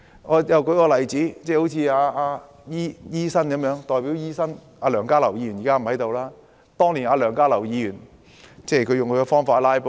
我再舉一個例子，當年代表醫學界的前議員梁家騮用他的方法"拉布"。